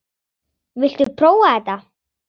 Viltu prófa þetta?